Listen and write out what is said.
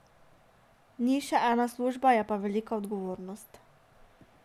Ni še ena služba, je pa velika odgovornost.